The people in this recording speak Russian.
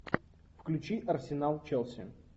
включи арсенал челси